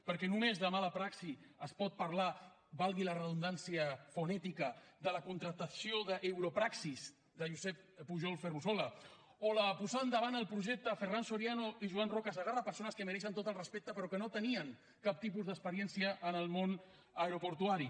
perquè només de mala praxi es pot parlar valgui la redundància fonètica de la contractació d’europraxis de josep pujol ferrusola o la posada endavant del projecte de ferran soriano i joan roca segarra persones que mereixen tot el respecte però que no tenien cap tipus d’experiència en el món aeroportuari